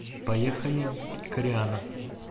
поехали кореана